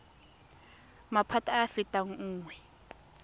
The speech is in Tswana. maphata a a fetang nngwe